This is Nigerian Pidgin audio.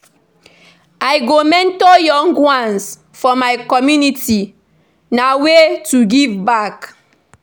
I go mentor young ones for my community; na way to give back.